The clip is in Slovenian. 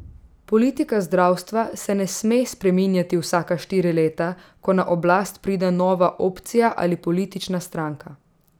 Politika zdravstva se ne sme spreminjati vsaka štiri leta, ko na oblast pride nova opcija ali politična stranka.